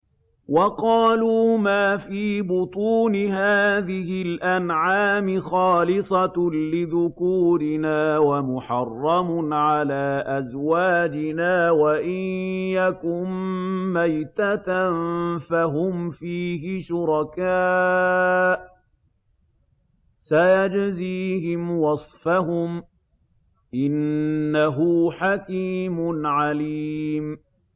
وَقَالُوا مَا فِي بُطُونِ هَٰذِهِ الْأَنْعَامِ خَالِصَةٌ لِّذُكُورِنَا وَمُحَرَّمٌ عَلَىٰ أَزْوَاجِنَا ۖ وَإِن يَكُن مَّيْتَةً فَهُمْ فِيهِ شُرَكَاءُ ۚ سَيَجْزِيهِمْ وَصْفَهُمْ ۚ إِنَّهُ حَكِيمٌ عَلِيمٌ